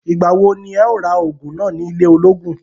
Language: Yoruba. Ìgbà wo ní ẹ̀ o ra ògùn náà ní ilé ògùn?